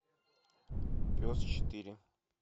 пес четыре